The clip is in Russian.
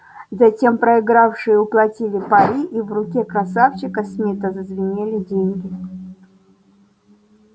затем проигравшие уплатили пари и в руке красавчика смита зазвенели деньги